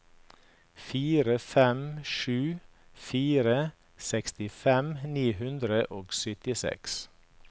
fire fem sju fire sekstifem ni hundre og syttiseks